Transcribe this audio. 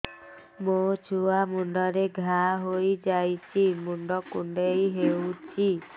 ମୋ ଛୁଆ ମୁଣ୍ଡରେ ଘାଆ ହୋଇଯାଇଛି ମୁଣ୍ଡ କୁଣ୍ଡେଇ ହେଉଛି